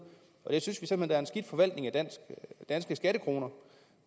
jeg synes simpelt er en skidt forvaltning af danske skattekroner